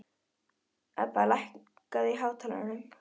Ebba, lækkaðu í hátalaranum.